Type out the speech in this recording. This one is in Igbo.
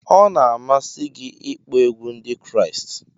Ọ na-amasị gị ịkpọ egwu Ndị Kraịst?